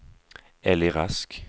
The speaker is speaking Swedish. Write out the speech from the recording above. Elly Rask